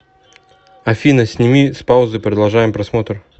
афина сними с паузы продолжаем просмотр